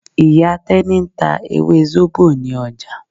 Ìyá Tẹ́ní ń ta ewé zobo ní ọjà.